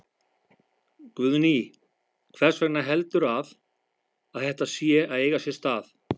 Guðný: Hvers vegna heldurðu að, að þetta sé að eiga sér stað?